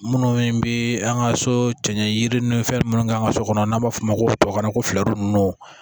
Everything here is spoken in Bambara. Minnu bɛ an ka so cɛ yiri ninnu fɛn minnu k'an ka so kɔnɔ n'an b'a fɔ o ma ko tubabukan na ko fɛɛrɛ ninnu